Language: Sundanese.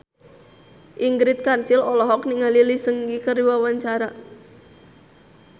Ingrid Kansil olohok ningali Lee Seung Gi keur diwawancara